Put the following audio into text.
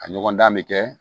A ɲɔgɔndan bɛ kɛ